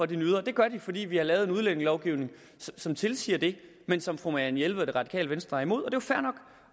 de nyder og det gør de fordi vi har lavet en udlændingelovgivning som tilsiger det men som fru marianne jelved og det radikale venstre er imod